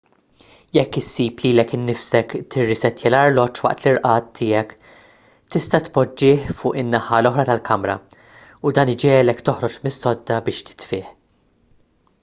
jekk issib lilek innifsek tirrissettja l-arloġġ waqt l-irqad tiegħek tista' tpoġġih fuq in-naħa l-oħra tal-kamra u dan jġiegħlek toħroġ mis-sodda biex titfih